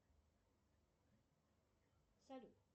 салют